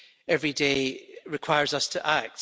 every day, requires us to act.